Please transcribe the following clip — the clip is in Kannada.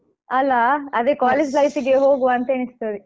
ಅಲಾ ಅದೇ college life ಗೆ ಹೋಗುವ ಅಂತ ಎಣಿಸ್ತದೆ.